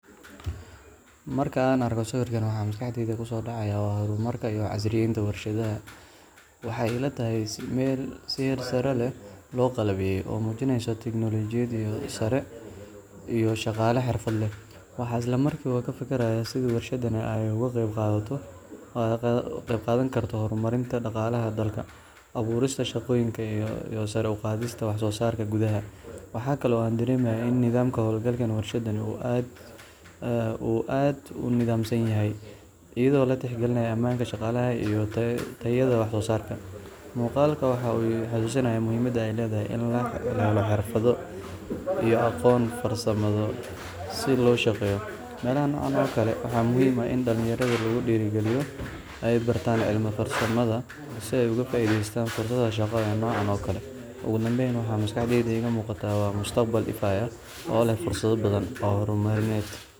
Marka aan arko sawirkan, waxa maskaxdayda ku soo dhacaya waa horumarka iyo casriyeynta warshadaha. Waxay ila tahay meel si heer sare ah loo qalabeeyay, oo muujinaysa tignoolajiyad sare iyo shaqaale xirfad leh. Waxaan isla markiiba ka fakarayaa sidii warshadani ay uga qayb qaadan karto horumarinta dhaqaalaha dalka, abuurista shaqooyin iyo sare u qaadista wax soo saarka gudaha. Waxaa kale oo aan dareemayaa in nidaamka hawlgalka warshadan uu aad u nidaamsan yahay, iyadoo la tixgelinayo ammaanka shaqaalaha iyo tayada waxsoosaarka. Muuqaalkan waxa uu i xusuusinayaa muhiimadda ay leedahay in la helo xirfado iyo aqoon farsamo si loo shaqeeyo meelaha noocan oo kale ah. Waxaa muhiim ah in dhalinyarada lagu dhiirrigeliyo inay bartaan cilmiga farsamada si ay uga faa’iideystaan fursadaha shaqo ee noocan oo kale ah. Ugu dambayn, waxa maskaxda iiga muuqata waa mustaqbal ifaya oo leh fursado badan oo horumarineed.